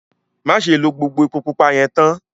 Màṣẹ̀ ló gbogbo èpò púpà yẹn táán!